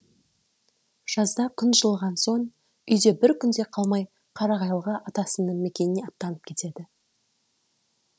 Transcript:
жазда күн жылыған соң үйде бір күн де қалмай қарағайлыға атасының мекеніне аттанып кетеді